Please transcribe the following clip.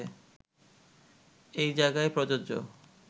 এই জায়গায় প্রযোজ্য